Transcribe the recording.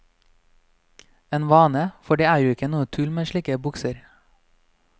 En vane, for det er jo ikke noe tull med slike bukser.